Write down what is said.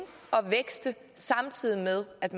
og vækste samtidig med at